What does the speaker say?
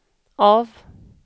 av